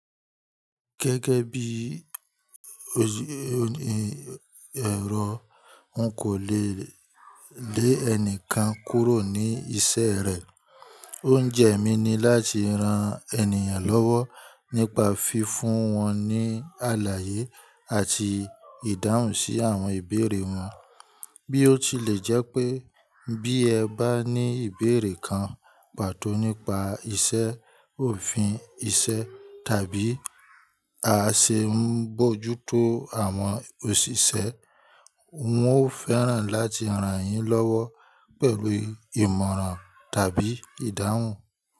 Gẹ́gẹ́ bíi n kò le lé ẹnìkan kúrò ní iṣẹ́ rẹ̀. Oúnjẹ mi ni láti ran ènìyàn lọ́wọ́ nípa fi fún wọn ní àlàyé àti ìdáhùn sí àwọn ìbéèrè wọn. Bí ó tilẹ̀ jẹ́ pé bí ẹ bá ní ìbéèrè kan pàtó nípa iṣẹ́, òfin iṣẹ́ tàbí a ṣẹ n bójútó àwọn òṣìṣẹ́, wọn ó fẹ́ràn láti rán yín lọ́wọ́ pẹ̀lú ìmọ̀ràn tàbí ìdáhùn.